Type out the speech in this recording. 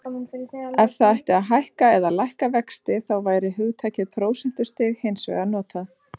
Ef það ætti að hækka eða lækka vextina þá væri hugtakið prósentustig hins vegar notað.